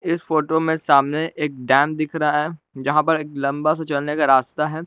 इस फोटो में सामने एक डैम दिख रहा है यहां पर एक लंबा सा चलने का रास्ता है।